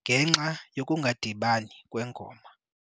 ngenxa yokungadibani kwengoma.